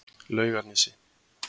Laugarnesi